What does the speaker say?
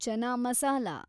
chana masala